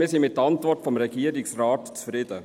Wir sind mit der Antwort des Regierungsrates zufrieden.